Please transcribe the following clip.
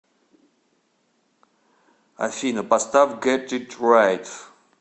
афина поставь гет ит райт